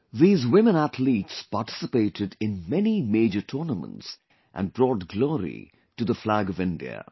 These women athletes participated in many major tournaments and brought glory to the flag of India